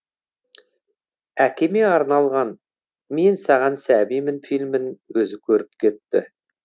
әкеме арналған мен саған сәбимін фильмін өзі көріп кетті